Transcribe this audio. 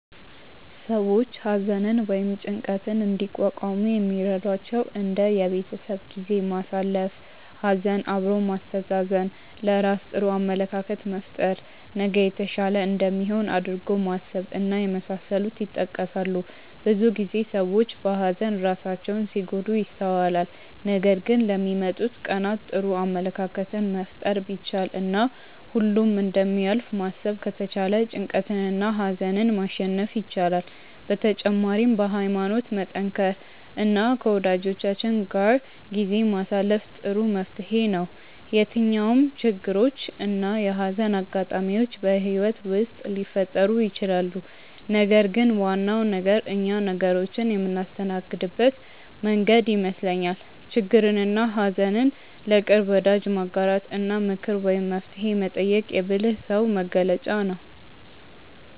ሰዎች ሀዘንን ወይም ጭንቀትን እንዲቋቋሙ የሚረዷቸው እንደ የቤተሰብ ጊዜ ማሳለፍ፣ ሀዘን አብሮ ማስተዛዘን፣ ለራስ ጥሩ አመለካከት መፍጠር፣ ነገ የተሻለ እንደሚሆን አድርጎ ማሰብ እና የመሳሰሉት ይጠቀሳሉ። ብዙ ጊዜ ሰዎች በሀዘን ራሳቸውን ሲጎዱ ይስተዋላል ነገር ግን ለሚመጡት ቀናት ጥሩ አመለካከትን መፍጠር ቢቻል እና ሁሉም እንደሚያልፍ ማሰብ ከተቻለ ጭንቀትንና ሀዘንን ማሸነፍ ይቻላል። በተጨማሪም በሀይማኖት መጠንከር እና ከወጃጆቻችን ጋር ጊዜ ማሳለፍ ጥሩ መፍትሔ ነው። የትኛውም ችግሮች እና የሀዘን አጋጣሚዎች በህይወት ውስጥ ሊፈጠሩ ይችላሉ ነገር ግን ዋናው ነገር እኛ ነገሮችን የምናስተናግድበት መንገድ ይመስለኛል። ችግርንና ሀዘን ለቅርብ ወዳጅ ማጋራት እና ምክር ወይም መፍትሔ መጠየቅ የብልህ ሰው መገለጫ ነው።